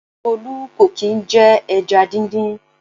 Tolu kò kì i jẹ ẹja díndín.